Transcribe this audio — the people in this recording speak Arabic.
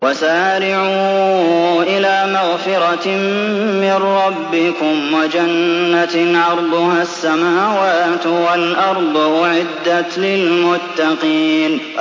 ۞ وَسَارِعُوا إِلَىٰ مَغْفِرَةٍ مِّن رَّبِّكُمْ وَجَنَّةٍ عَرْضُهَا السَّمَاوَاتُ وَالْأَرْضُ أُعِدَّتْ لِلْمُتَّقِينَ